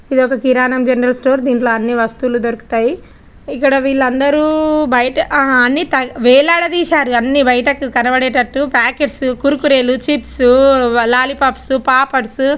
ఇదొక కిరాణం general store. దీంట్లో అన్ని వస్తువులు దొరుకుతాయి. ఇక్కడ వీళ్ళందరూ బయట ఆ అన్ని వేలాడదీశారు అన్ని బయటకు కనబడేటట్టు ప్యాకెట్స్ కుర్కురేలు చిప్స్ లాలీపాప్స్ పాపడ్స్.